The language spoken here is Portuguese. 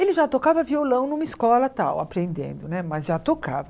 Ele já tocava violão numa escola tal, aprendendo né, mas já tocava.